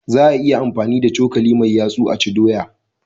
Za a iya amfani da cokali mai yatsu a ci doya